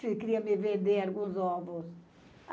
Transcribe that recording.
se queria me vender alguns ovos.